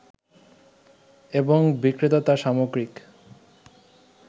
এবং বিক্রেতা তার সামগ্রিক